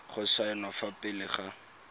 go saenwa fa pele ga